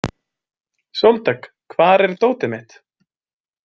Sóldögg, hvar er dótið mitt?